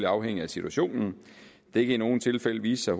afhænge af situationen det kan i nogle tilfælde vise sig